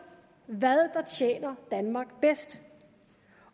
hvad der tjener danmark bedst